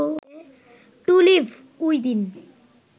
two live within